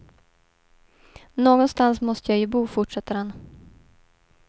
Någonstans måste jag ju bo, fortsätter han.